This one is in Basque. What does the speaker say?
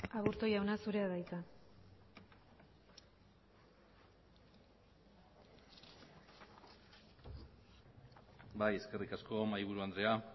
aburto jauna zurea da hitza bai eskerrik asko mahaiburu andrea